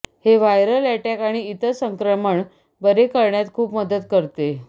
हे viral attack आणि इतर संक्रमण बरे करण्यात खूप मदत करते